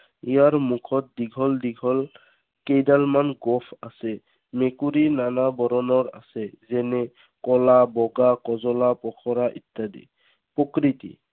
ইয়াৰ মুখত দীঘল দীঘল কেইডালমান গোফ আছে। মেকুৰী নানা বৰণৰ আছে। যেনে কলা, বগা, কজলা, পখৰা ইত্যাদি। প্ৰকৃতি।